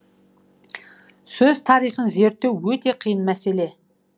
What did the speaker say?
сөз тарихын зерттеу өте қиын мәселе